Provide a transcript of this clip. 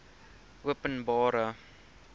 openbare